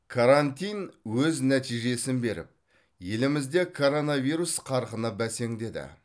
карантин өз нәтижесін беріп елімізде коронавирус қарқыны бәсеңдеді